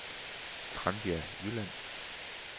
Tranbjerg Jylland